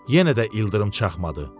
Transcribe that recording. Yenə də ildırım çaxmadı.